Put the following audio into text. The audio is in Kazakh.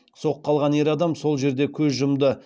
соққы алған ер адам сол жерде көз жұмды